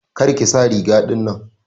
Kar ki sa riga ɗinnan.